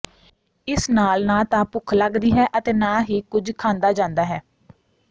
ਇਸ ਨਾਲ ਨਾ ਤਾਂ ਭੁੱਖ ਲੱਗਦੀ ਹੈ ਅਤੇ ਨਾ ਹੀ ਕੁੱਝ ਖਾਂਦਾ ਜਾਂਦਾ ਹੈ